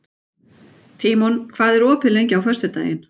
Tímon, hvað er opið lengi á föstudaginn?